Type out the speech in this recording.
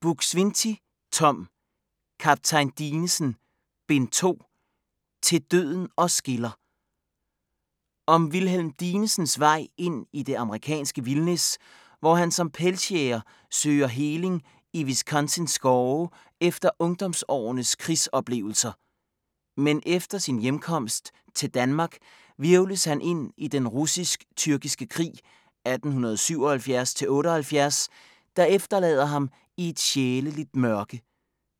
Buk-Swienty, Tom: Kaptajn Dinesen: Bind 2: "Til døden os skiller" Om Wilhelm Dinesens vej ind i det amerikanske vildnis, hvor han som pelsjæger søger heling i Wisconsins skove efter ungdomsårenes krigsoplevelser. Men efter sin hjemkomst til Danmark hvirvles han ind i den russisk-tyrkiske krig 1877-78, der efterlader ham i et sjæleligt mørke,